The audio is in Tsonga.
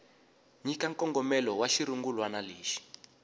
nyika nkongomelo wa xirungulwana lexi